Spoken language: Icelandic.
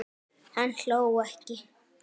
Hann hló ekki.